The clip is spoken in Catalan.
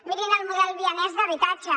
mirin el model vienès d’habitatge